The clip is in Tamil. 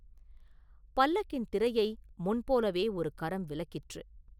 பல்லக்கின் திரையை முன்போலவே ஒரு கரம் விலக்கிற்று.